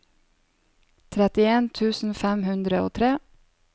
trettien tusen fem hundre og tre